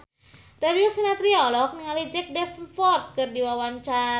Darius Sinathrya olohok ningali Jack Davenport keur diwawancara